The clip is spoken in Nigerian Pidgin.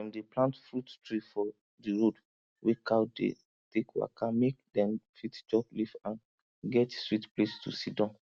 dem dey plant fruit tree for di road wey cow dey take waka mek dem fit chop leaf and get sweet place to sidon